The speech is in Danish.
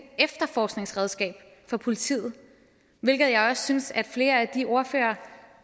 efterforskningsredskab for politiet hvilket jeg også synes at flere af de ordførere